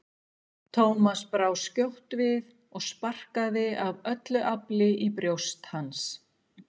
Thomas brá skjótt við og sparkaði af öllu afli í brjóst hans.